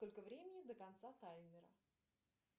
сколько времени до конца таймера